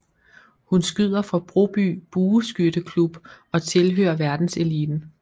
Hun skyder for Broby Bueskytte Klub og tilhører verdenseliten